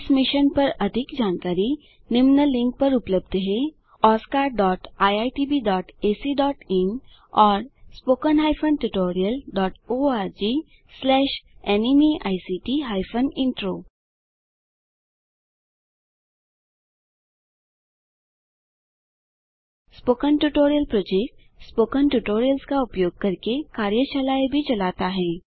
इस मिशन पर अधिक जानकारी निम्न लिंक पर उपलब्ध है oscariitbacइन और httpspoken tutorialorgNMEICT Intro spoken tutorial project spoken tutorials का उपयोग करके कार्यशालाएँ भी चलाता है